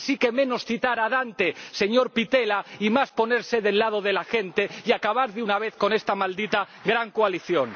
Así que, menos citar a Dante, señor Pittella, y más ponerse del lado de la gente y acabar de una vez con esta maldita gran coalición.